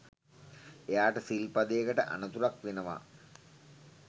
එයාට සිල්පදයකට අනතුරක් වෙනවා